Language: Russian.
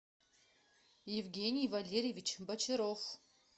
евгений валерьевич бочаров